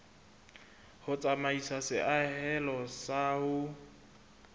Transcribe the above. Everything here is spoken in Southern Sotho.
ho tsamaisa seahelo sa ho